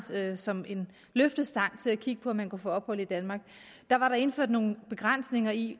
som en løftestang til at kigge på om man kunne få ophold i danmark indført nogle begrænsninger i